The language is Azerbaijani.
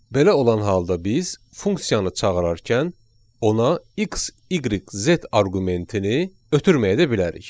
Belə olan halda biz funksiyanı çağırarkən ona X, Y, Z arqumentini ötürməyə də bilərik.